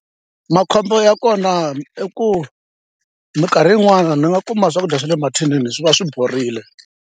Makhombo ya kona i ku minkarhi yin'wani ni nga kuma swakudya swa le mathinini swi va swi borile.